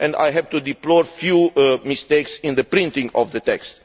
I have to deplore a few mistakes in the printing of the text.